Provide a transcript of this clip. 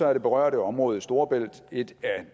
er det berørte område i storebælt et